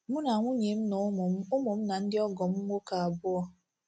Mụ na nwunye m na ụmụ m ụmụ m na ndị ọgọ m nwoke abụọ